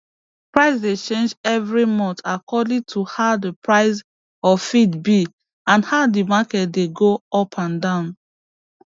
price dey change evri month according to how d price of feed be and how d market dey go up and down